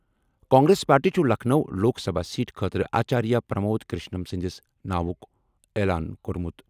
Congress party چھُ Lucknow Lok Sabha seat خٲطرٕ آچاریہ پرمود کرشنم سٕنٛدِس ناوُک اعلان کوٚرمُت۔